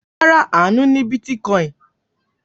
Rárá, Àánú ní bítíkọ́ìn.